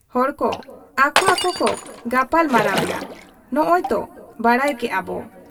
ᱦᱚᱲ ᱠᱚ ᱟᱠᱚ ᱟᱠᱚ ᱠᱚ ᱜᱟᱯᱟᱞ ᱢᱟᱨᱟᱣ ᱮᱱᱟ, ᱱᱚᱸᱜᱻ ᱚᱭ ᱛᱚ ᱵᱟᱰᱟᱭ ᱠᱮᱜ ᱟᱵᱚ ᱾